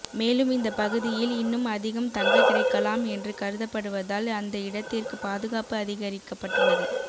மேலும் இந்த பகுதியில் இன்னும் அதிகம் தங்க கிடைக்கலாம் என்று கருதப்படுவதால் அந்த இடத்திற்கு பாதுகாப்பு அதிகரிக்கப்பட்டுள்ளது